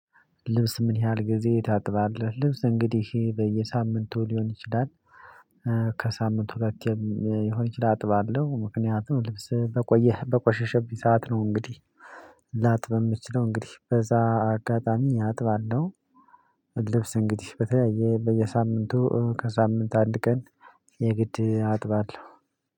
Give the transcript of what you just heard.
ልብስ ምን ያህል ጊዜ ታጥባለህ? ልብስ እንግዲህ በየሳምንቱ ሊሆን ይችላል። ከሳምንቱ ሁለቴም ይሆነ ይችላል አጥባለሁ ምክንያቱም ልብስ በቆየህ በቆሸሸብኝ ሰዓት ነው። እንግዲህ ላጥብ የምችለው እንግዲህ በዛ አጋጣሚ አጥባለሁ። ልብስ እንግዲህ በተለያየ በየሳምንቱ ከሳምንት አንድ ቀን የግድ አጥባለሁ።